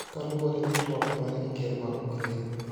Koluwore gi twak mare gi ker ma Ukraine